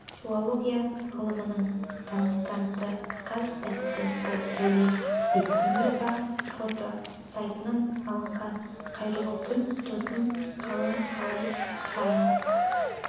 филология ғылымдарының кандидаты қаз доценті сауле бектемірова фото сайтынан алынды қайырлы күн досым қалың қалай файн